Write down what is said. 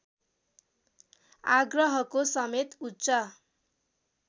आग्रहको समेत उच्च